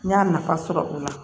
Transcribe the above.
N y'a nafa sɔrɔ o la